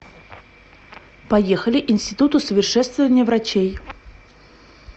поехали институт усовершенствования врачей